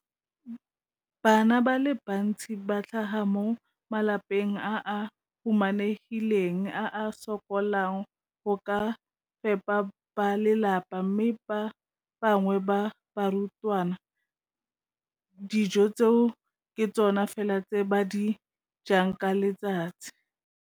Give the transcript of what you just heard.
Bana ba le bantsi ba tlhaga mo malapeng a a humanegileng a a sokolang go ka fepa ba lelapa mme ba bangwe ba barutwana, dijo tseo ke tsona fela tse ba di jang ka letsatsi.